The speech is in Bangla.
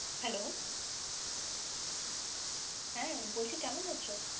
Hello হ্যাঁ, বলছি কেমন আছো?